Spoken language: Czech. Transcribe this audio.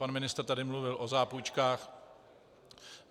Pan ministr tady mluvil o zápůjčkách.